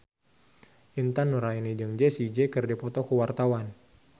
Intan Nuraini jeung Jessie J keur dipoto ku wartawan